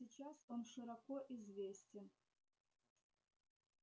сейчас он широко известен